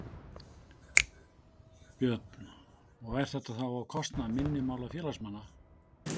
Björn: Og er þetta þá á kostnað minni mála félagsmanna?